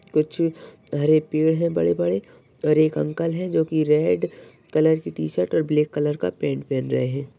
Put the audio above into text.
कुछ हरे पेड़ है बड़े-बड़े और एक अंकल है जोकि रेड कलर की टी-शर्ट और ब्लैक कलर का पेंट पहन रहे हैं।